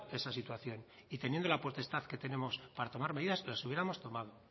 esa situación y teniendo la potestad que tenemos para tomar medidas las hubiéramos tomado